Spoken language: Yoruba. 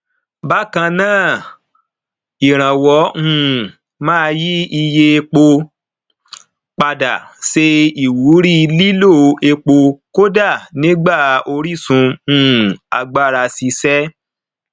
bákan náà ìrànwọ um máa yí iye epo padà ṣe ìwúrí lílo epo kódà nígbà orísun um agbára ṣiṣẹ